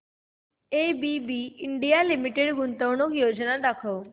ABB India Limited गुंतवणूक योजना दाखव